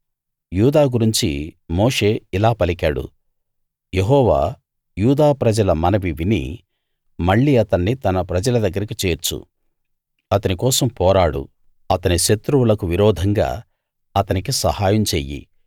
యూదా గురించి మోషే ఇలా పలికాడు యెహోవా యూదా ప్రజల మనవి విని మళ్ళీ అతన్ని తన ప్రజల దగ్గరికి చేర్చు అతని కోసం పోరాడు అతని శత్రువులకు విరోధంగా అతనికి సహాయం చెయ్యి